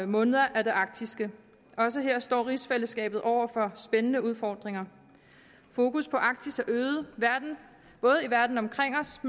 måneder er det arktiske også her står rigsfællesskabet over for spændende udfordringer fokus på arktis er øget både i verden omkring os